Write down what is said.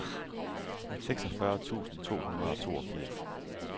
seksogfyrre tusind to hundrede og toogfirs